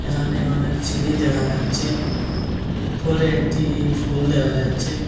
এখানে অনেক সিঁড়ি দেখা যাচ্ছে উপরে একটি ফুল দেখা যাচ্ছে।